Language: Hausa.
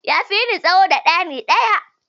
Ya fi ni tsawo da ɗani ɗaya